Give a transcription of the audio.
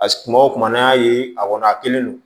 kuma o kuma n'an y'a ye a kɔni a kelen don